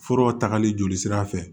Furaw tagali joli sira fɛ